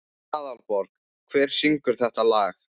Aðalborg, hver syngur þetta lag?